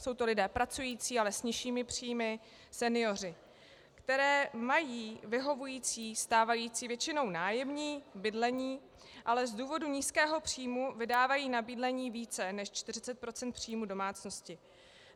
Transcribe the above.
Jsou to lidé pracující, ale s nižšími příjmy, senioři, kteří mají vyhovující stávající, většinou nájemní bydlení, ale z důvodu nízkého příjmu vydávají na bydlení více než 40 % příjmů domácnosti.